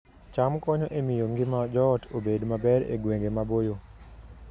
cham konyo e miyo ngima joot obed maber e gwenge maboyo